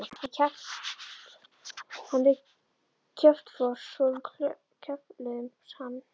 Hann er kjaftfor svo við kefluðum hann.